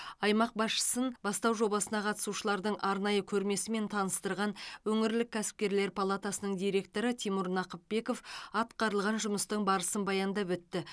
аймақ басшысын бастау жобасына қатысушылардың арнайы көрмесімен таныстырған өңірлік кәсіпкерлер палатасының директоры тимур нақыпбеков атқарылған жұмыстың барысын баяндап өтті